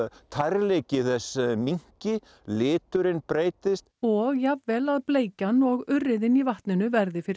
tærleiki þess minnki liturinn breytist og jafnvel að bleikjan og urriðinn í vatninu verði fyrir